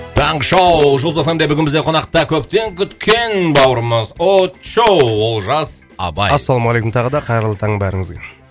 таңғы шоу жұлдыз эф эм де бүгін бізде қонақта көптен күткен бауырымыз очоу олжас абай ассалаумалейкум тағы да қайырлы таң бәріңізге